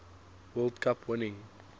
world cup winning